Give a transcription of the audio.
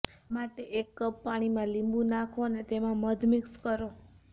આ માટે એક કપ પાણીમાં લીંબુ નાંખો અને તેમાં મધ મિક્સ કરો